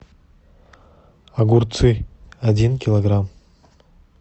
огурцы один килограмм